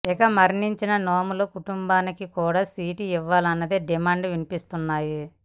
ఇక మరణించిన నోముల కుటుంబానికి కూడా సీటు ఇవ్వాలన్న డిమాండ్లు వినిపిస్తున్నాయి